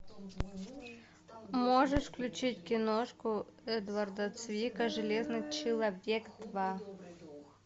можешь включить киношку эдварда цвика железный человек два